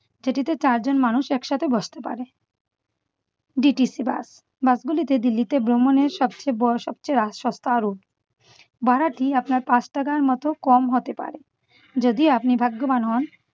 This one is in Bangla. সেটিতে চারজন মানুষ একসাথে বসতে পারে। DTC bus bus গুলিতে দিল্লিতে ভ্রমণের সবচে ব~ সবচে সত্তারু ভাড়াটি আপনার পাঁচ টাকার মত কম হতে পারে। যদি আপনি ভাগ্যবান হন